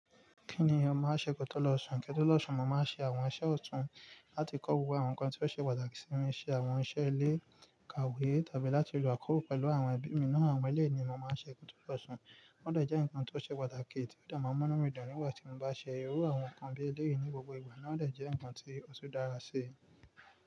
Kí ni ọmọ á ṣe kótó lọ̀ṣùn? Kétó lọ̀ṣùn, mo máa ń ṣe àwọn iṣẹ́ ọ̀tún láti kọ́kọ́ wo àwọn nǹkan tí ó ṣe pàtàkì sí mi, ṣe àwọn iṣẹ́ ilé, kàwé, tàbí láti lo àkọ́rọ́ pẹ̀lú àwọn ẹbí mi náà. Àwọn eléèni mo máa ń ṣe kótó lọ̀ṣùn. Wọ́n dàjà ǹkan tó ṣe pàtàkì tí ó dààmú mọ́ mi dànù níwájú tí mo bá ṣe irú àwọn nǹkan bí eléèni ní gbogbo ìgbà náà dàjà ǹkan tí ó ṣe dára ṣe.